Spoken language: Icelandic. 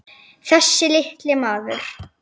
Þessi litli maður.